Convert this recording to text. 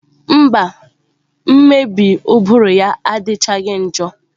Mba, mmebi ụbụrụ ya adịchaghị njọ.